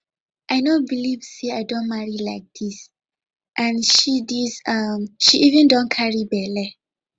i no believe say i don marry like dis and she dis and she even don carry bele